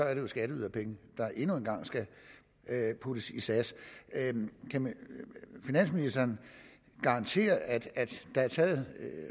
er det jo skatteyderpenge der endnu en gang skal puttes i sas kan finansministeren garantere at der er taget